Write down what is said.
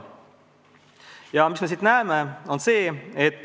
Aga mis me siit slaidilt näeme?